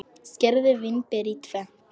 Skerið vínber í tvennt.